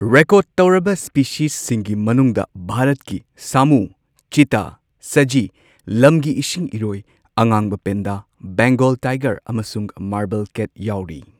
Record ꯇꯧꯔꯕ ꯁ꯭ꯄꯦꯁꯤꯁꯁꯤꯡꯒꯤ ꯃꯅꯨꯡꯗ ꯚꯥꯔꯠꯀꯤ ꯁꯥꯃꯨ, ꯆꯤꯇꯥ ꯁꯖꯤ, ꯂꯝꯒꯤ ꯏꯁꯤꯡ ꯏꯔꯣꯏ, ꯑꯉꯥꯡꯕ ꯄꯥꯟꯗꯥ, ꯕꯦꯡꯒꯜ ꯇꯥꯏꯒꯔ, ꯑꯃꯁꯨꯡ ꯃꯥꯔꯕꯜ ꯀꯦꯠ ꯌꯥꯎꯔꯤ꯫